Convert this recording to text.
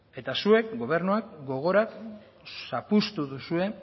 eta zuek gobernua gogora zapuztu duzue